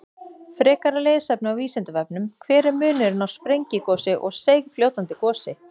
Frekara lesefni á Vísindavefnum: Hver er munurinn á sprengigosi og seigfljótandi gosi?